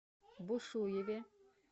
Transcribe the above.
бушуеве